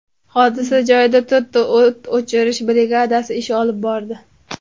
Hodisa joyida to‘rtta o‘t o‘chirish brigadasi ish olib bordi.